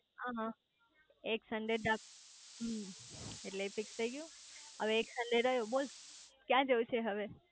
હ એક સન્ડે હમ્મ એટલે એ ફિક્સ થઇ ગયું એટલે હવે એક સનડે રહ્યો બોલ ક્યાં જવું છે હવે